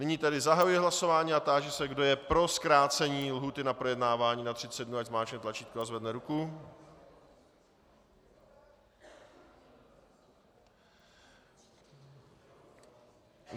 Nyní tedy zahajuji hlasování a táži se, kdo je pro zkrácení lhůty na projednávání na 30 dnů, ať zmáčkne tlačítko a zvedne ruku.